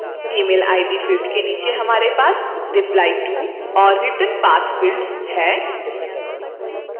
email id field के नीचे हमारे पास replyto और returnpath fields है